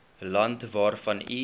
land waarvan u